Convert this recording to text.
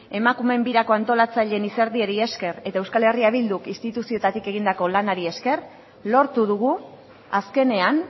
emakumeen birako antolatzaileen izerdiari esker eta eh bilduk instituzioetatik egindako lanari esker lortu dugu azkenean